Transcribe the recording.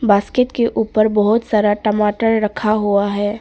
Basket के ऊपर बहुत सारा टमाटर रखा हुआ है।